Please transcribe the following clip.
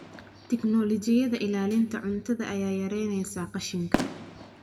Tignoolajiyada ilaalinta cuntada ayaa yaraynaysa qashinka.